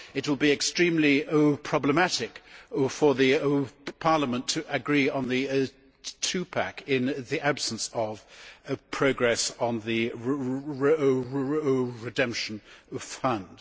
It will be extremely problematic for Parliament to agree on the Two pack' in the absence of progress on the redemption fund.